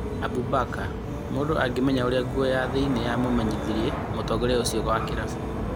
Abu Mbaka: Mũndũ angĩmenya ũrĩa nguo ya thĩinĩ ya mumenyithirie mũtongoria ũcio wa Kĩarabu.